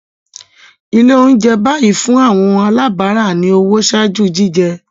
Ile ounjẹ bayi fun awọn alabara ni owo ṣaaju jijẹ